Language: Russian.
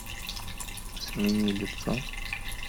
смени лицо